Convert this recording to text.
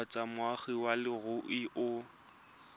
kgotsa moagi wa leruri o